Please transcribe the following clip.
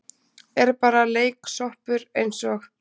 Er bara leiksoppur eins og